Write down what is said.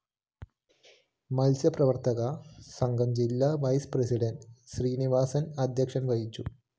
മത്സ്യപ്രവര്‍ത്തക സംഘം ജില്ലാ vice president Srinivasan‍ അധ്യക്ഷത വഹിച്ചു